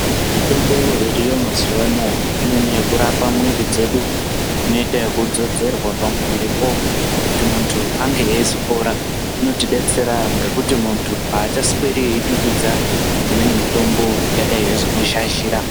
Mitombo iriyo mazuwa anaya anonyanya kurapa mwiri dzedu inoita ekudzodzorwa pamwiripo kuti muntu ange eizopora inotidetsera ngekuti muntu aachasweri eidududza imweni mitombo ingadayi yeizomuzhazhira.